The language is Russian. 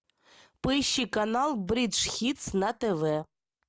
поищи канал бридж хитс на тв